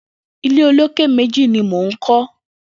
Ilé ólóké méji ni mó n kọ